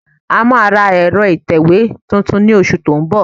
A máa ra ẹ̀rọ ìtẹ̀wé tuntun ní oṣù tó ń bọ̀